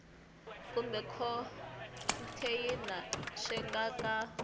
kumbe khonteyinara swi nga ka